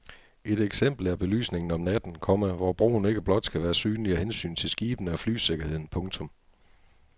Et eksempel er belysningen om natten, komma hvor broen ikke blot skal være synlig af hensyn til skibene og flysikkerheden. punktum